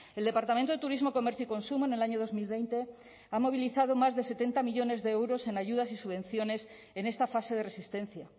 el departamento de turismo comercio y consumo en el año dos mil veinte ha movilizado más de setenta millónes de euros en ayudas y subvenciones en esta fase de resistencia